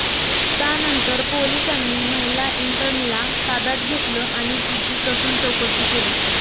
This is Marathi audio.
त्यानंतर पोलिसांनी महिला इंटर्नला ताब्यात घेतलं आणि तिची कसून चौकशी केली